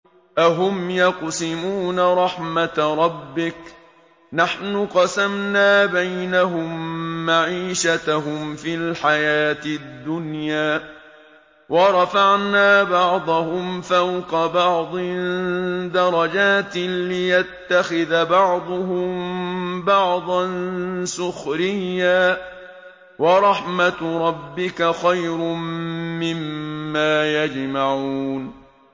أَهُمْ يَقْسِمُونَ رَحْمَتَ رَبِّكَ ۚ نَحْنُ قَسَمْنَا بَيْنَهُم مَّعِيشَتَهُمْ فِي الْحَيَاةِ الدُّنْيَا ۚ وَرَفَعْنَا بَعْضَهُمْ فَوْقَ بَعْضٍ دَرَجَاتٍ لِّيَتَّخِذَ بَعْضُهُم بَعْضًا سُخْرِيًّا ۗ وَرَحْمَتُ رَبِّكَ خَيْرٌ مِّمَّا يَجْمَعُونَ